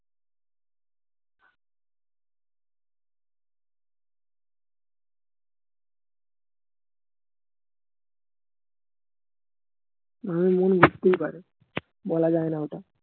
এমন লাগতেই পারে বলা যায়না ওটা